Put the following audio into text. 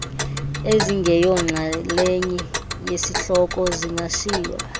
ezingeyonxalenye yesihloko zingashiywa